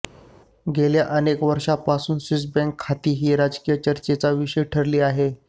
गेल्या अनेक वर्षांपासून स्विस बँक खाती ही राजकीय चर्चेचा विषय ठरली आहे